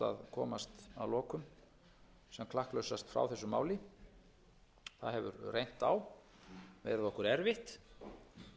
komast að lokum sem klakklausast frá þessu máli það hefur reynt á verið okkur erfitt það hefur farið í